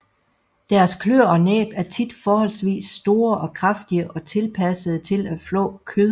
Deres kløer og næb er tit forholdsvis store og kraftige og tilpassede til at flå kød